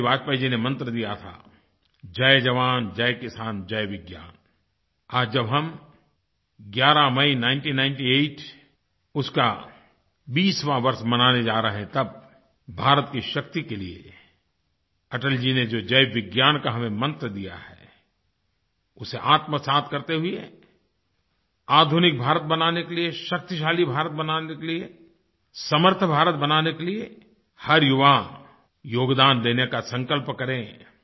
अटल बिहारी वाजपेयी जी ने मंत्र दिया था जयजवान जयकिसान जयविज्ञान आज जब हम 11 मई 1998 उसका 20वाँ वर्ष मनाने जा रहे हैं तब भारत की शक्ति के लिए अटल जी ने जो जयविज्ञान का हमें मंत्र दिया है उसे आत्मसात करते हुए आधुनिक भारत बनाने के लिए शक्तिशाली भारत बनाने के लिए समर्थ भारत बनाने के लिए हर युवा योगदान देने का संकल्प करे